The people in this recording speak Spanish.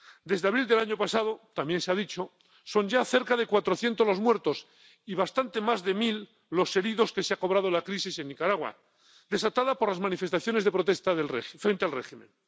Desde abril del año pasado —también se ha dicho—, son ya cerca de cuatrocientos los muertos y bastante más de mil los heridos que se ha cobrado la crisis en Nicaragua, desatada por las manifestaciones de protesta frente al régimen.